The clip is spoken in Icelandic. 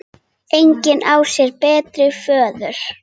Engin á sér betri föður.